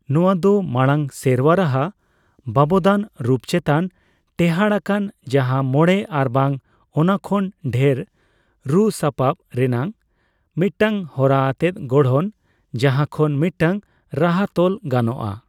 ᱱᱚᱣᱟ ᱫᱚ ᱢᱟᱲᱟᱝᱼᱥᱮᱨᱣᱟ ᱨᱟᱦᱟ ᱵᱟᱵᱚᱫᱟᱱ ᱨᱩᱯ ᱪᱮᱛᱟᱱ ᱴᱮᱦᱟᱰ ᱟᱠᱟᱱ ᱡᱟᱦᱟᱸ ᱢᱚᱬᱮ ᱟᱨᱵᱟᱝ ᱚᱱᱟ ᱠᱷᱚᱱ ᱰᱷᱮᱨ ᱨᱩᱼᱥᱟᱯᱟᱵᱽ ᱨᱮᱱᱟᱜ ᱢᱤᱫᱴᱟᱝ ᱦᱚᱨᱟ ᱟᱛᱮᱫ ᱜᱚᱲᱦᱚᱱ ᱡᱟᱦᱟ ᱠᱷᱚᱱ ᱢᱤᱫᱴᱟᱝ ᱨᱟᱦᱟ ᱛᱚᱞ ᱜᱟᱱᱚᱜᱼᱟ ᱾